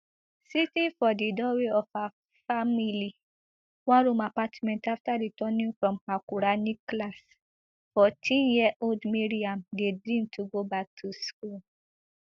sitting for di doorway of her family oneroom apartment after returning from her quranic class fourteenyearold mariam dey dream to go back to school